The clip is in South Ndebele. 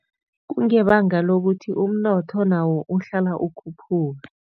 Kungebanga lokuthi umnotho nawo uhlala ukhuphuka.